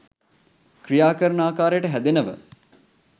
ක්‍රියා කරන ආකාරයට හැදෙනව.